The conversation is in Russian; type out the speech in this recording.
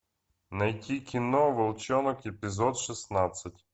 найти кино волчонок эпизод шестнадцать